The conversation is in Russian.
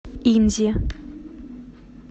инзе